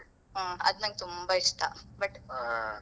ಹ್ಮ್ ಅದ್ ನಂಗೆ ತುಂಬಾ ಇಷ್ಟ but .